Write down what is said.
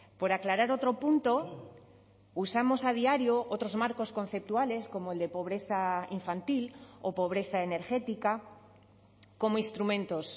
por aclarar otro punto usamos a diario otros marcos conceptuales como el de pobreza infantil o pobreza energética como instrumentos